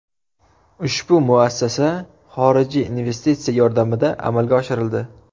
Ushbu muassasa xorijiy investitsiya yordamida amalga oshirildi.